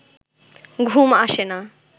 ঘুম আসে না